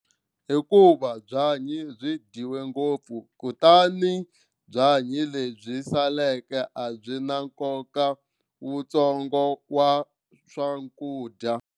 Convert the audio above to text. Hikuva byanyi byi dyiwe ngopfu kutani byanyi lebyi saleke a byi na nkoka wutsongo wa swakudya.